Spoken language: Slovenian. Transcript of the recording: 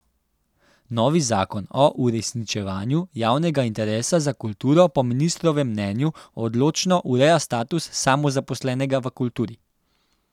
Novi zakon o uresničevanju javnega interesa za kulturo po ministrovem mnenju odločno ureja status samozaposlenega v kulturi.